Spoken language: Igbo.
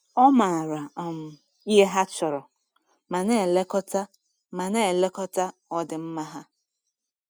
Ọ maara um ihe ha chọrọ ma na-elekọta ma na-elekọta ọdịmma ha.